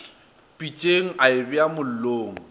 pitšeng a e beya mollong